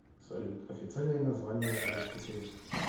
салют официальное название рейнский союз